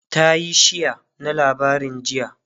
tayi share na labarin jiya